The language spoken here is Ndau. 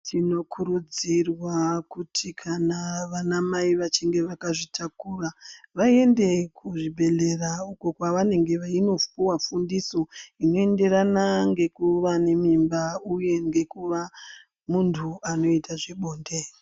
Tinokurudzirwa kuti kana vana mai vachinge vakazvitakura vaende kuzvibhedhleya uko kwavanenge vachindopuwa fundiso inoenderana ngekuva nemimba uye ngekuva muntu anoita zvebonde.